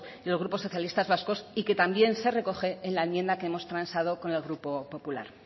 y el grupo nacionalistas vascos y que también se recoge en la enmienda que hemos transado con el grupo popular